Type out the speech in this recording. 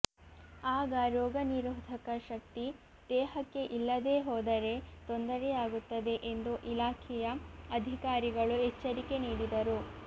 ಆಗ ರೋಗನಿರೋಧಕ ಶಕ್ತಿ ದೇಹಕ್ಕೆ ಇಲ್ಲದೇ ಹೋದರೆ ತೊಂದರೆಯಾಗುತ್ತದೆ ಎಂದು ಇಲಾಖೆಯ ಅಧಿಕಾರಿಗಳು ಎಚ್ಚರಿಕೆ ನೀಡಿದರು